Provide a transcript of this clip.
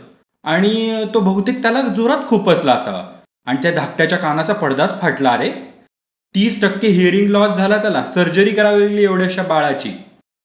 आणि तो बहुतेक त्याला जोरात खुपसला असावा. आणि त्या धाकट्याच्या कानाचा पादडच फाटला असे. तीस त्कक्के हियरिंग लॉस झालं त्याला, सर्जरी करावी लागली एवढ्याशा बाळाची.